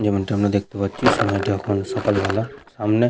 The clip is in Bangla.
যেমনটা আমরা দেখতে পাচ্ছি সময়টা এখন সকাল বেলা সামনে--